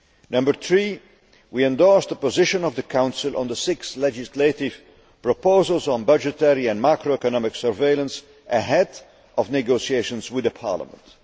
Number three we endorsed the position of the Council on the six legislative proposals on budgetary and macroeconomic surveillance ahead of negotiations with Parliament.